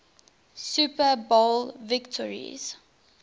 super bowl victories